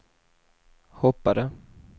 hoppade